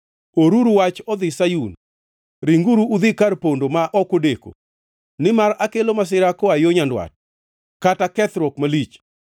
Oruru wach odhi Sayun! Ringuru udhi kar pondo ma ok odeko! Nimar akelo masira koa yo nyandwat, kata kethruok malich.”